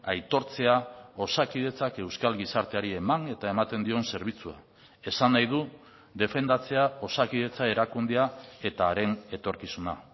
aitortzea osakidetzak euskal gizarteari eman eta ematen dion zerbitzua esan nahi du defendatzea osakidetza erakundea eta haren etorkizuna